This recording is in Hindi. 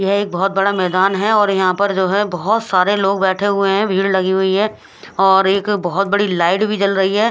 यह एक बोहोत बड़ा मैदान है और यह पर जो है बोहोत सारे लोग बेठे हुए है भीड़ लगी हुई है और एक बोहोत बड़ी लाइट भी जल रही।